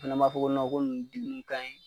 Fɛnɛ b'a fɔ ko ko nunnu denw kanɲi